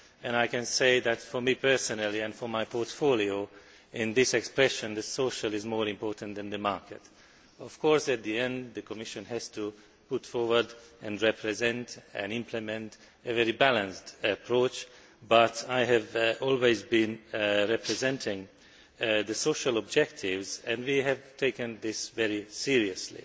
I can say, for me personally and for my portfolio, that in this expression, the social' is more important than the market'. Of course, at the end of the day, the Commission has to put forward, represent and implement a very balanced approach. However, I have always represented the social objectives and we have taken this very seriously.